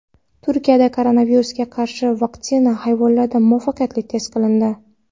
Turkiyada koronavirusga qarshi vaksina hayvonlarda muvaffaqiyatli test qilindi.